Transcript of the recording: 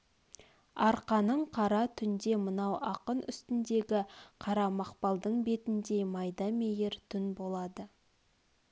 арқаның қара түн де мынау ақын үстндегі қара мақпалдың бетндей майда мейір түн болады